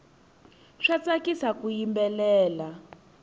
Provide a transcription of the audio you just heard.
swa tsakisa ku yimbelela